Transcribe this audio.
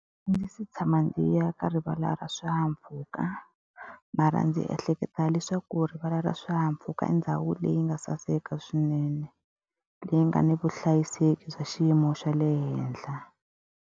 A ndzi se tshama ndzi ya ka rivala ra swihahampfhuka. Mara ndzi ehleketa leswaku rivala ra swihahampfhuka i ndhawu leyi nga saseka swinene, leyi nga ni vuhlayiseki bya xiyimo xa le henhla.